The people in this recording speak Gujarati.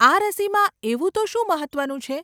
આ રસીમાં એવું તો શું મહત્વનું છે?